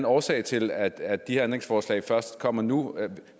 årsag til at de her ændringsforslag først kommer nu